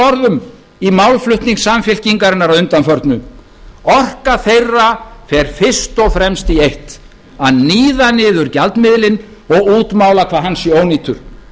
orðum í málflutning samfylkingarinnar að undanförnu orka þeirra fer fyrst og fremst í eitt að níða niður gjaldmiðilinn og útmála hvað hann sé ónýtur